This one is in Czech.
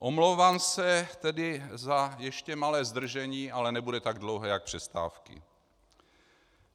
Omlouvám se tedy za ještě malé zdržení, ale nebude tak dlouhé jako přestávky.